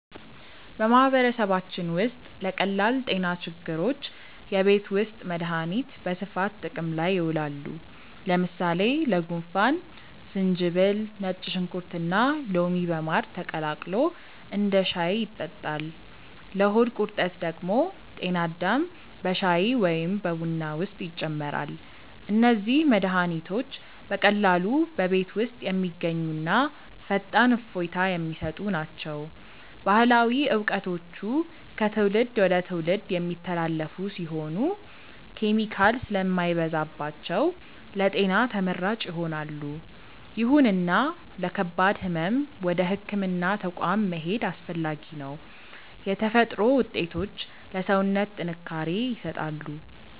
በማህበረሰባችን ውስጥ ለቀላል ጤና ችግሮች የቤት ውስጥ መድሃኒቶች በስፋት ጥቅም ላይ ይውላሉ። ለምሳሌ ለጉንፋን ዝንጅብል፣ ነጭ ሽንኩርትና ሎሚ በማር ተቀላቅሎ እንደ ሻይ ይጠጣል። ለሆድ ቁርጠት ደግሞ ጤና አዳም በሻይ ወይም በቡና ውስጥ ይጨመራል። እነዚህ መድሃኒቶች በቀላሉ በቤት ውስጥ የሚገኙና ፈጣን እፎይታ የሚሰጡ ናቸው። ባህላዊ እውቀቶቹ ከትውልድ ወደ ትውልድ የሚተላለፉ ሲሆኑ፣ ኬሚካል ስለማይበዛባቸው ለጤና ተመራጭ ይሆናሉ። ይሁንና ለከባድ ህመም ወደ ህክምና ተቋም መሄድ አስፈላጊ ነው። የተፈጥሮ ውጤቶች ለሰውነት ጥንካሬ ይሰጣሉ።